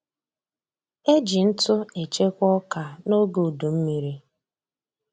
Eji ntụ echekwa ọka noge udummiri